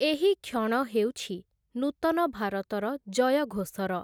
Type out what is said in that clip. ଏହି କ୍ଷଣ ହେଉଛି 'ନୂତନ ଭାରତର ଜୟଘୋଷ'ର ।